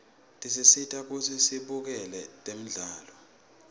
tisisita kutsi sibukele temdlalo